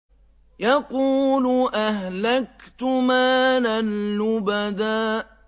يَقُولُ أَهْلَكْتُ مَالًا لُّبَدًا